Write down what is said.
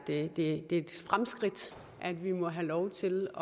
det er et fremskridt at vi må have lov til